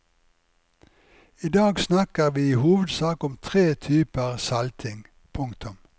I dag snakker vi i hovedsak om tre typer salting. punktum